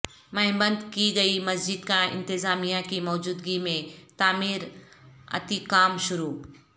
منہدم کی گئی مسجدکا انتظامیہ کی موجودگی میں تعمیر اتی کام شروع